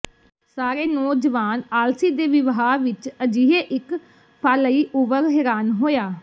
ਸਾਰੇ ਨੌਜਵਾਨ ਆਲਸੀ ਦੇ ਵਿਵਹਾਰ ਵਿੱਚ ਅਜਿਹੇ ਇੱਕ ਫਾਲਈਓਵਰ ਹੈਰਾਨ ਹੋਇਆ